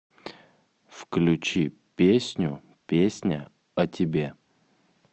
включи песню песня о тебе